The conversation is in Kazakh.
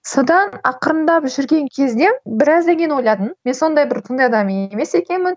содан ақырындап жүрген кезде біраздан кейін ойладым мен сондай бір адам емес екенмін